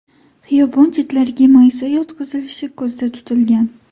Xiyobon chetlariga maysa yotqizilishi ko‘zda tutilgan.